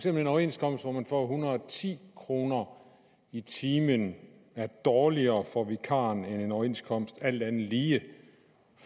at en overenskomst hvor man får en hundrede og ti kroner i timen er dårligere for vikarer end en overenskomst alt andet lige